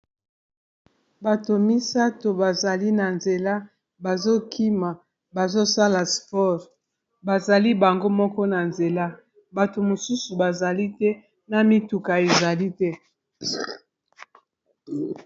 bato misato bazali na nzela bazokima bazosala spore bazali bango moko na nzela bato mosusu bazali te na mituka ezali te